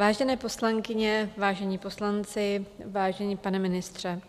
Vážené poslankyně, vážení poslanci, vážený pane ministře,